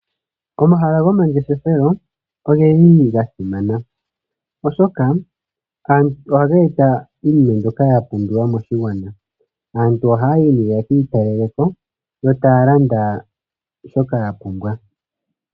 Omahala gomangeshefelo oge li ga simana, oshoka ohaga eta iinima mbyoka ya pumbiwa moshigwana. Aantu ohaya yi nee ye ki italele ko yo taya landa shoka ya pumbwa.